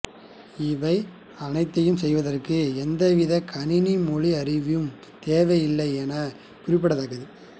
இவை அனைத்தையும் செய்வதற்கு எந்தவித கணனி மொழி அறிவும் தேவையில்லை என்பது குறிப்பிடத் தக்கது